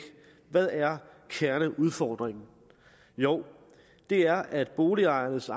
hvad er kerneudfordringen jo det er at boligejernes